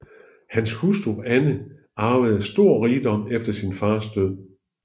Hans hustru Anne arvede stor rigdom efter sin fars død